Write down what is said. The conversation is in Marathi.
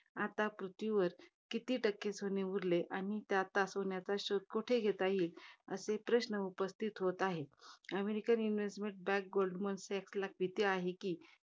आता पृथ्वीवर किती टक्के सोनं उरलय? आणि आता सोन्याचा शोध कुठे घेता येईल? असे प्रश्न उपस्थित होत आहेत. American investment मध्ये bank गोल्डमन सॅच्स ला भीती कि